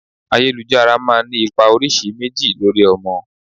Ayélujára máa ń ní ipa oríṣi méjì lórí ọmọ.